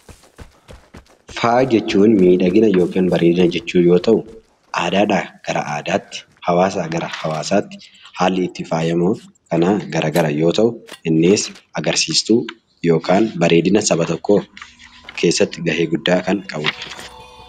Faaya jechuun miidhagina yookin bareedina jechuu yoo ta'u aadaadhaa gara aadaatti, hawaasaa gara hawaasaatti haalli itti faayamnuu kana gara gara yoo ta'u innis agarsiistuu yookaan bareedina saba tokkoo keessatti ga'ee guddaa kan qabudha.